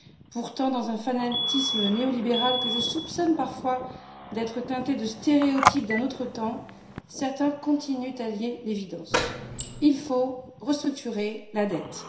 Pourtant, dans un fanatisme néolibéral que je soupçonne parfois d'être teinté de stéréotypes d'un autre temps, certains continuent à nier l'évidence il faut restructurer la dette.